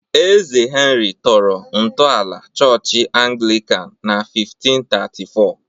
Eze Henry tọrọ ntọala Chọọchị Anglican na 1534